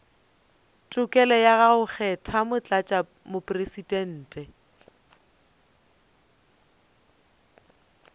tokelo ya go kgetha motlatšamopresidente